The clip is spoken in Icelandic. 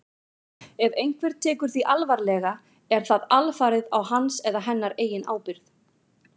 Ef einhver tekur því alvarlega er það alfarið á hans eða hennar eigin ábyrgð.